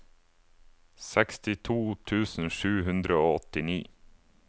sekstito tusen sju hundre og åttini